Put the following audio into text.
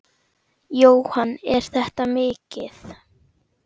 Jóhann: Er þetta mikið?